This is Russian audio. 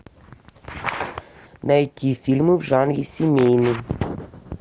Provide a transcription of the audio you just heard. найти фильмы в жанре семейный